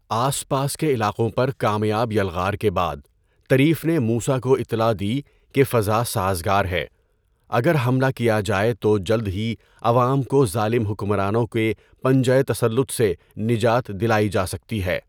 آس پاس کے علاقوں پر کامیاب یلغار کے بعد طریف نے موسیٰ کو اِطلاع دی کہ فضاء سازگار ہے، اگر حملہ کیا جائے تو جلد ہی عوام کو ظالم حکمرانوں کے پنجۂ تسلط سے نجات دِلائی جا سکتی ہے۔